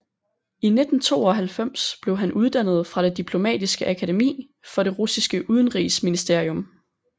I 1992 blev han uddannet fra det Diplomatiske akademi for det russiske udenrigsministerium